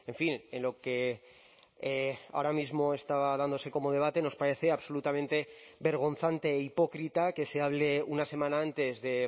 fin en lo que ahora mismo estaba dándose como debate nos parece absolutamente vergonzante e hipócrita que se hable una semana antes de